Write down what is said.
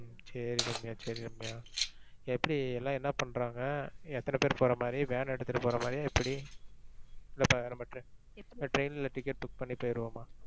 ஹம் சரி ரம்யா சரி ரம்யா. எப்படி எல்லாம் என்னா பண்றாங்க? எத்தனை பேரு போற மாதிரி van எடுத்துட்டு போற மாதிரியா எப்படி? இல்ல இப்ப நம்ப train ல ticket book பண்ணி போயிருவோமா?